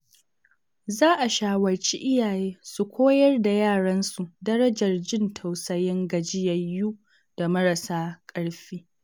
Za a shawarci iyaye su koyar da yaransu darajar jin tausayin gajiyayyu da marasa ƙarfi.